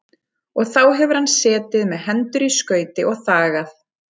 Og þá hefur hann setið með hendur í skauti og þagað.